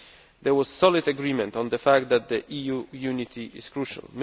There was solid agreement on the fact that EU unity is crucial.